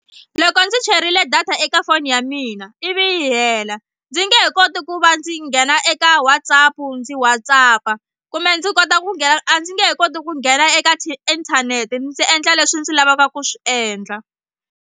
Loko ndzi cherile data eka foni ya mina ivi yi hela ndzi nge he koti ku va ndzi nghena eka WhatsApp ndzi WhatsApp-a kumbe ndzi kota ku nghena a ndzi nge he koti ku nghena eka tiinthanete ndzi endla leswi ndzi lavaka ku swi endla.